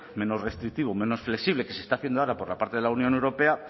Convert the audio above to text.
menos restrictivo menos flexible que se está haciendo ahora por la parte de la unión europea